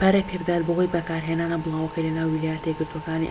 تا ئێستا aol توانیویەتی بجووڵێت و بە هەنگاوەکانی خۆی بازاڕی im پەرە پێبدات بەهۆی بەکارهێنانە بڵاوەکەی لە ناو ویلایەتە یەکگرتووەکانی